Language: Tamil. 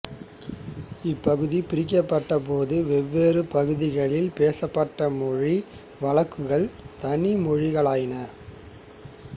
இப்பகுதி பிரிக்கப்பட்ட போது வெவ்வேறு பகுதிகளில் பேசப்பட்ட மொழி வழக்குகள் தனி மொழிகளாயின